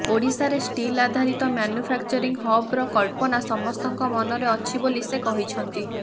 ଓଡ଼ିଶାରେ ଷ୍ଟିଲ ଆଧାରିତ ମାନୁଫ୍ୟାକ୍ଚରିଂ ହବ୍ର କଳ୍ପନା ସମସ୍ତଙ୍କ ମନରେ ଅଛି ବୋଲି ସେ କହିଛନ୍ତି